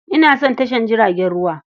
Ina son tashar jiragen ruwa.